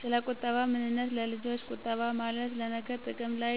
ሰለቁጠባ ምንነት ለልጆች ቁጠባ ማለት ለነገ ጥቅም ላይ